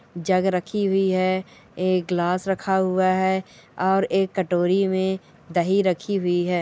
जग रखी हुई है एक गिलास रखा हुआ है और एक कटोरी में दही रखी हुई है।